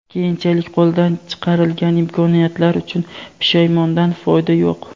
keyinchalik qo‘ldan chiqarilgan imkoniyatlar uchun pushaymondan foyda yo‘q.